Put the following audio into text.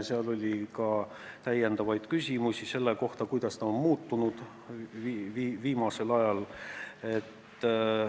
Esitati ka täiendavaid küsimusi selle kohta, kuidas see on viimasel ajal muutunud.